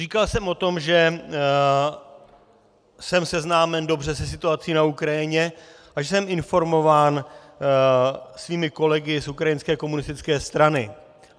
Říkal jsem o tom, že jsem seznámen dobře se situací na Ukrajině a že jsem informován svými kolegy z ukrajinské komunistické strany.